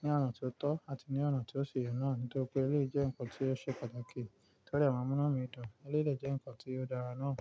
ní ọ̀nà ti o tọ́ àti ní ọ̀nà ti ó si yẹ náà. Nítorí pé eléyìí jẹ́ ǹkan tí ó ṣe pàtàkì, to dẹ máa n múnú mi dùn, eléyìí dẹ jẹ́ ǹkan tí ó dára náà.